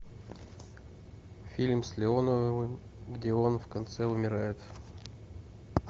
фильм с леоновым где он в конце умирает